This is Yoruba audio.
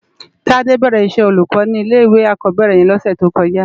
Tade bèrè iṣè ólúkò ni ilé iwé ákòbèrè yèn lòsè tókòjá